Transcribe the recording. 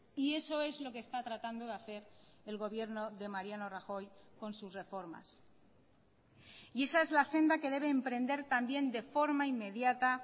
y eso es lo que está tratando de hacer el gobierno de mariano rajoy con sus reformas y esa es la senda que debe emprender también de forma inmediata